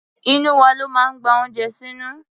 Inú wa ló máa ń gba oúnjẹ sínú.